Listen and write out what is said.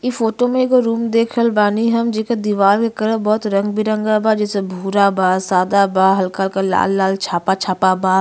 इ फोटो में एक एगो रूम देख रहल बानी हम। जेकर दीवार क कलर बहुत रंग बिरंगा बा। जैसे भूरा बा। सदा बा। हल्का हल्का लाल लाल झापा झापा बा।